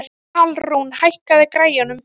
Alrún, hækkaðu í græjunum.